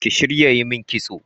Kiyi shirin yimin kitso